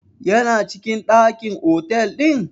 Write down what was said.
Ya na cikin ɗakin otal ɗin?